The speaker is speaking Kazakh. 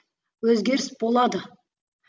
өзгеріс болады